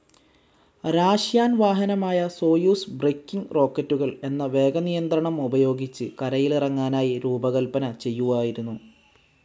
Russian വാഹനമായ Soyuz braking റോക്കറ്റുകൾ എന്ന വേഗനിയന്ത്രണം ഉപയോഗിച്ച് കരയിലിറങ്ങാനായി രൂപകൽപന ചെയ്യുവായിരുന്നു.